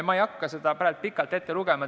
Ma ei hakka praegu kõike pikalt ette lugema.